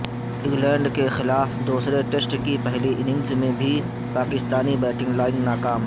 England کیخلاف دوسرے test کی پہلی اننگز میں بھی پاکستانی بیٹنگ لائن ناکام